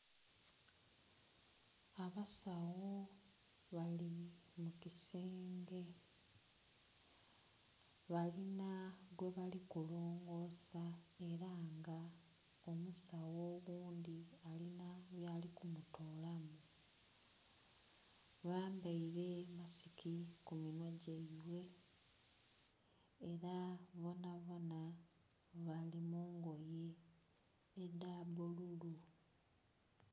Abasawo bali mu kisenge. Balina gwe bali kulongoosa ela nga omusawo oghundgi alina byali kumutoolamu. Bambaile masiki ku minhwa gyaibwe, ela bonabona bali mu ngoye edha bululu.